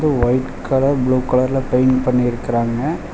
White colour blue கலர்ல paint பண்ணிருக்குறாங்க.